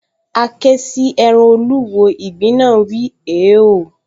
A ké sí ẹran olúwo, ìgbín náà wíi, “hèéò”